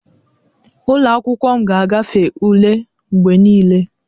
Ụlọ akwụkwọ m ga-agafe ule mgbe niile